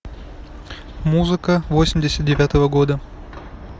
музыка восемьдесят девятого года